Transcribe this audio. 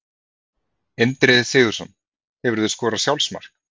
Indriði Sigurðsson Hefurðu skorað sjálfsmark?